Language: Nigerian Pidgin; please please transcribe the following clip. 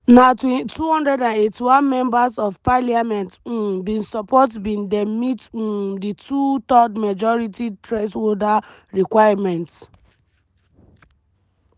na 281 members of parliament um bin support bid dem meet um di two-thirds majority threshold requirement.